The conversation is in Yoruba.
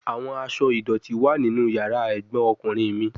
Awọn aṣọ idọti wa ninu yara egbon okunrin mi